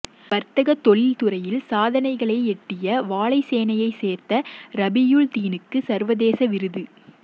வர்த்தக தொழிற் துறையில் சாதனைகளை எட்டிய வாழைச்சேனையைச் சேர்ந்த ரபியூல்தீனுக்கு சர்வதேச விருது